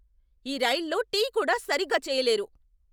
ఈ రైల్లో టీ కూడా సరిగ్గా చేయలేరు!